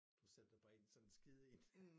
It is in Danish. Du sætter dig bare ind i sådan en skide én